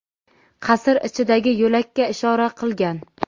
qasr ichidagi yo‘lakka ishora qilgan.